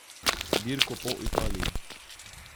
Dirko po Italiji.